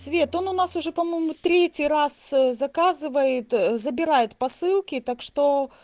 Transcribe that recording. цвет он у нас уже по-моему третий раз заказывает забирает посылки так что